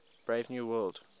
brave new world